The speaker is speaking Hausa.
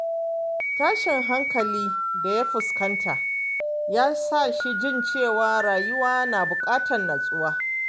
Tashin hankalin da ya fuskanta ya sa shi jin cewa rayuwa na buƙatar natsuwa.